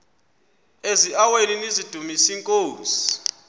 eziaweni nizidumis iinkosi